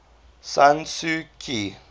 san suu kyi